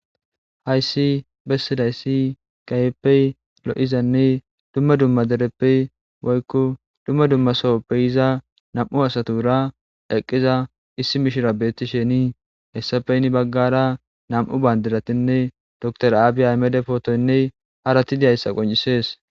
Hayssi bessidayssi gayeppey lo7izanne dumma dumma dereppey woykko dumma dumma sohoppey iza nam7u asatura eqqiza issi mishira beetti shenii hessafeynni baggara nam7u bandiratinne dor aabiy aymede pootoynne harati diyayssa qoncisees